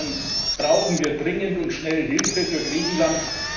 Insofern brauchen wir dringend und schnell Hilfe für Griechenland.